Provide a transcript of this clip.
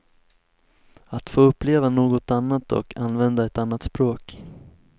Att få uppleva något annat och använda ett annat språk.